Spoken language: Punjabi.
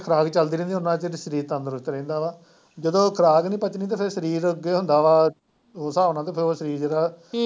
ਜਿੰਨਾਂ ਚਿਰ ਖੁਰਾਕ ਚੱਲਦੀ ਰਹਿੰਦੀ ਉਨਾਂ ਚਿਰ ਸਰੀਰ ਤੰਦਰੁਸਤ ਰਹਿੰਦਾ ਆ, ਜਦੋਂ ਖੁਰਾਕ ਨੀ ਪੱਚਣੀ ਤੇ ਫਿਰ ਸਰੀਰ ਓਦੇ ਹੀ ਹੁੰਦਾ ਵਾ ਉਸ ਸਾਬ ਨਾਲ ਤੇ ਫਿਰ ਸਰੀਰ।